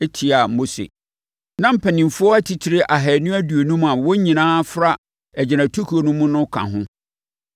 tiaa Mose. Na mpanimfoɔ atitire ahanu aduonum a wɔn nyinaa fra agyinatukuo no mu no ka ho.